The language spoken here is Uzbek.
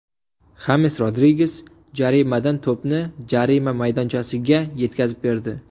Xames Rodriges jarimadan to‘pni jarima maydonchasiga yetkazib berdi.